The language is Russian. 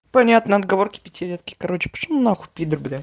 понятно отговорки пятилетки короче пошёл на хуй пидор блядь